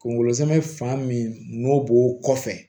Kungolo zɛmɛ fan min n'o b'o kɔfɛ